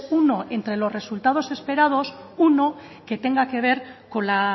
uno entre los resultados esperados uno que tenga que ver con la